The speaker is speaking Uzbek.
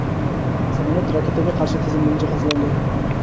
samolyot raketaga qarshi tizim bilan jihozlangan.